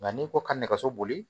Nka n'i ko ka nɛgɛso boli